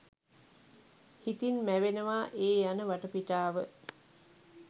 හිතින් මැවෙනවා ඒ යන වටපිටාව